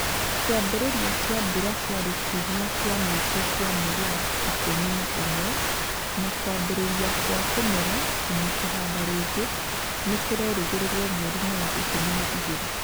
Kĩambĩrĩria kĩa mbura kĩarĩ kiumia kĩa mũico gĩa gĩa mweri wa ikumi na ũmwe na kwambĩrĩria kwa kũmera na kũhanda rĩngĩ nĩ kũrerĩgĩrĩrũo mweri-inĩ wa ikumi na igĩrĩ.